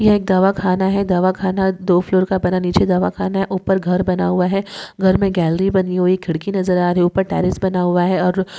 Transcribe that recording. यह एक दवाखाना है दवाखाना दो फ्लोर का बना नीचे दवाखाना है उपर घर बना हुआ है घर मे गॅलेरी बनी हुई खिड़की नज़र आ रही उपर टेरस टॅरेस बना हुआ है। और--